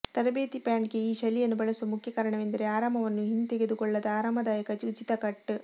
ತರಬೇತಿ ಪ್ಯಾಂಟ್ಗೆ ಈ ಶೈಲಿಯನ್ನು ಬಳಸುವ ಮುಖ್ಯ ಕಾರಣವೆಂದರೆ ಆರಾಮವನ್ನು ಹಿಂತೆಗೆದುಕೊಳ್ಳದ ಆರಾಮದಾಯಕ ಉಚಿತ ಕಟ್